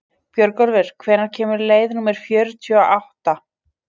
Björgólfur, hvenær kemur leið númer fjörutíu og átta?